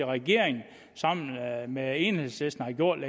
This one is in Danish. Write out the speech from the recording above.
og regeringen sammen med enhedslisten har gjort